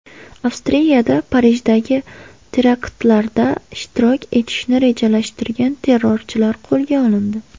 Avstriyada Parijdagi teraktlarda ishtirok etishni rejalashtirgan terrorchilar qo‘lga olindi.